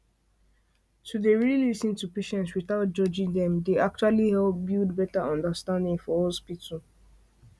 to dey really lis ten to patients without judging dem dey actually help build better understanding for hospital